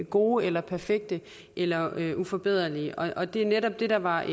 gode eller perfekte eller uforbederlige og det er netop det der var